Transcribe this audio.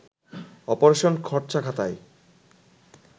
operation খরচাখাতায়